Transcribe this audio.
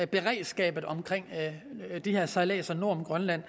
beredskabet omkring de her sejladser nord om grønland